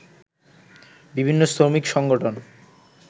বিভিন্ন শ্রমিক সংগঠন